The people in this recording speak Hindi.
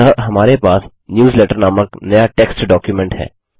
अतः हमारे पास न्यूजलेटर नामक नया टेक्स्ट डॉक्युमेंट है